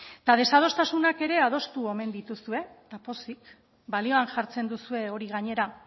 eta desadostasunak ere adostu omen dituzue eta pozik balioan jartzen duzue hori gainera